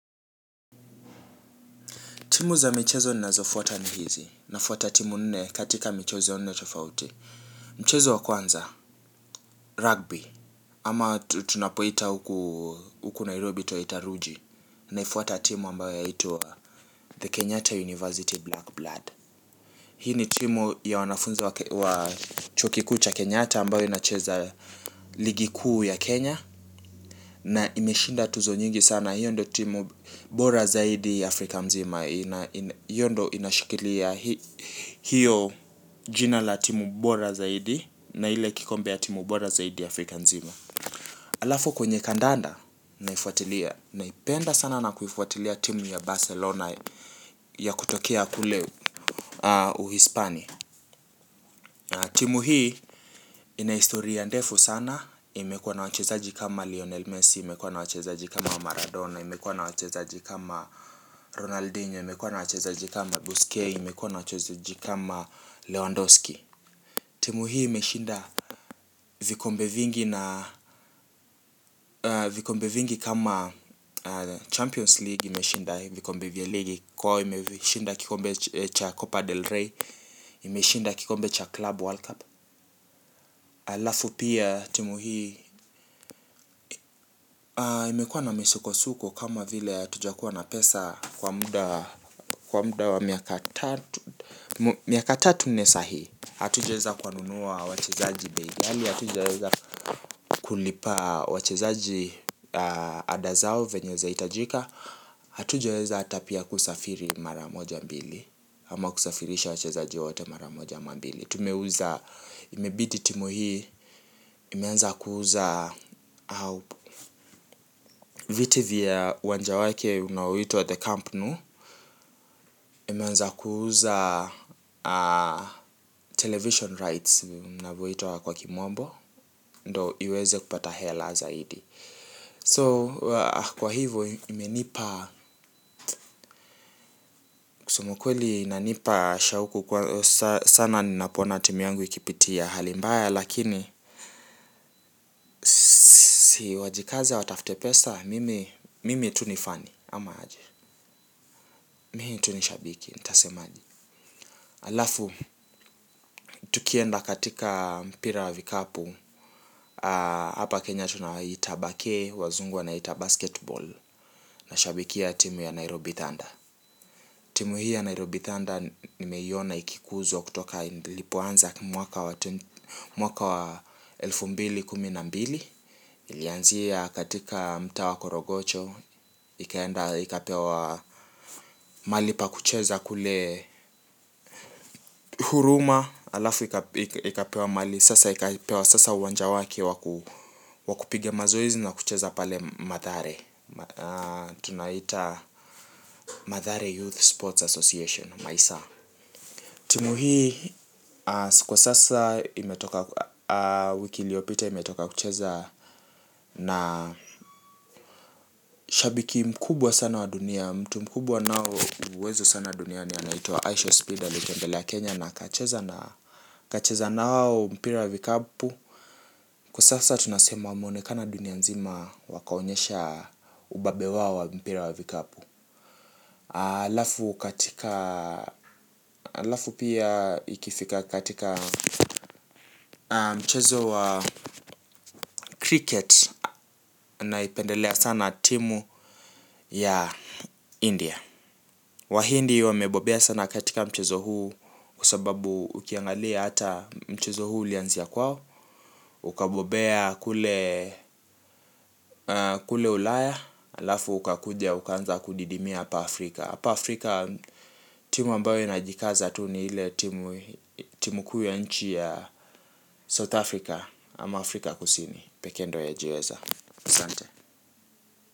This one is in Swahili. Timu za mchezo nazofuata ni hizi. Nafuata timu nne katika michezo nne tofauti. Mchezo wa kwanza, rugby. Ama tunapoita huku Nairobi, Toyota Rooji. Naifuata timu ambayo yaitwa The Kenyata University Black Blood. Hii ni timu ya wanafunzi wa chuo kikuu cha Kenyata ambayo inacheza ligi kuu ya Kenya. Na imeshinda tuzo nyingi sana. Hiyo ndo timu bora zaidi Afrika Mzima. Hiyo ndo inashikilia. Hiyo jina la timu bora zaidi na ile kikombe ya timu bora zaidi Afrika Nzima Alafu kwenye kandanda. Naifuatilia naipenda sana na kufuatilia timu ya Barcelona Ya kutokea kule Uhispani. Timu hii ina historia ndefu sana. Imekuwa na wachezaji kama Lionel Messi. Imekuwa na wachezaji kama Maradona. Imekuwa na wachezaji kama Ronaldinho, imekuwa na wachezaji kama Bousquet imekuwa na wachezeji kama Lewandowski. Timu hii imeshinda vikombe vingi na vikombe vingi kama Champions League imeshinda vikombe vya ligi kwao imevishinda kikombe cha Copa del Rey imeshinda kikombe cha Club World Cup. Alafu pia timu hii imekuwa na misukosuko kama vile hatujakuwa na pesa kwa muda wa miaka tatu miaka tatu nne sahi. Hatujaeza kuwanunuwa wachezaji bei ghali hatujaweza kulipa wachezaji ada zao venye zahitajika hatujaweza hata pia kusafiri mara moja mbili ama kusafirisha wachezaji wote mara moja mbili tumeuza imebidi timu hii imeanza kuuza viti vya uwanja wake unaoitwa he camp nu, imeanza kuuza television rights unavoitwa kwa kimombo. Ndo iweze kupata hela zaidi So kwa hivo imenipa kusema ukweli inanipa shauku kwa sana ninapoona timu yangu ikipitia hali mbaya. Lakini si wajikaze. Watafte pesa mimi. Mimi tu ni fan ama aje. Mimi tu ni shabiki nitasema aje. Alafu tukienda katika mpira wa vikapu. Hapa Kenya tunaiita bake. Wazungu wanaita basketball. Nashabikia timu ya Nairobi Thunder. Timu hii ya Nairobi Thunder nimeiona ikikuzwa kutoka ilipoanza mwaka wa elfu mbili na kumi na mbili, ilianzia katika mtaa wa Korogocho, ikapewa mahali pa kucheza kule huruma, alafu ikapewa magali, sasa ikapewa sasa uwanja wake wa kupiga mazoezi na kucheza pale Mathare. Tunaita Mathare Youth Sports Association, maisa. Timu hii si kwa sasa imetoka wiki iliyopita imetoka kucheza na shabiki mkubwa sana wa dunia. Mtu mkubwa anao uwezo sana duniani anaitwa Ishow Speed alitembelea Kenya na akacheza nao mpira wa vikapu. Kwa sasa tunasema ameonekana dunia nzima wakaonyesha ubabe wao wa mpira wa vikapu. Alafu katika alafu pia ikifika katika mchezo wa cricket naipendelea sana timu ya India. Wahindi wamebobea sana katika mchezo huu kwa sababu ukiangalia hata mchezo huu ulianzia kwao. Ukabobea kule kule ulaya alafu ukakuja ukaanza kudidimia hapa Afrika. Hapa Afrika timu ambayo inajikaza tu ni ile timu kuu ya nchi ya South Africa ama Afrika kusini pekee ndo yajiweza asante.